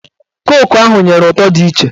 Koku ahụ nyere ụtọ dị iche